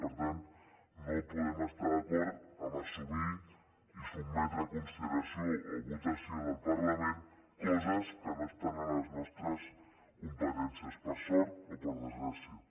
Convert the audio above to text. per tant no podem estar d’acord a assumir i sotmetre a consideració o a votació del parlament coses que no estan a les nostres competències per sort o per desgràcia